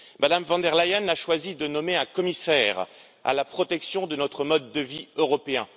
Mme von der Leyen a choisi de nommer un commissaire à la protection de notre mode de vie européen.